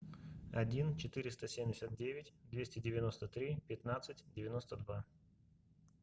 один четыреста семьдесят девять двести девяносто три пятнадцать девяносто два